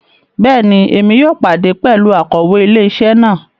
Bẹẹni, Èmí yóò pàdé pẹlú Akòwé ilé-isé náà